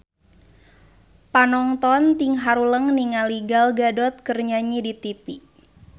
Panonton ting haruleng ningali Gal Gadot keur nyanyi di tipi